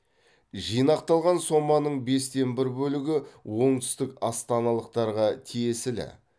жинақталған соманың бестен бір бөлігі оңтүстік астаналықтарға тиесілі